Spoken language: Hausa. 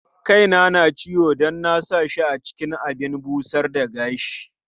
Kaina na ciwo don na sa shi cikin abin busar da gashi.